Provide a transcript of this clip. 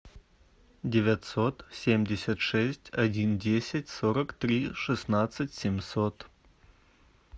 девятьсот семьдесят шесть один десять сорок три шестнадцать семьсот